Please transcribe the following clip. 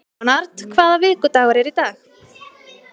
Leonhard, hvaða vikudagur er í dag?